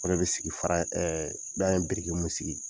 O de be sigi fara in , ɛɛ n'an ye mun sigi